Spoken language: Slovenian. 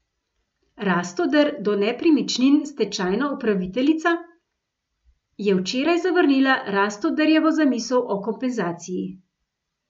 Rastoder do nepremičnin Stečajna upraviteljica je včeraj zavrnila Rastoderjevo zamisel o kompenzaciji.